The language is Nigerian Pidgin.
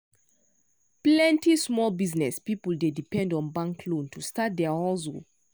plenty small business people dey depend on bank loan to start their hustle.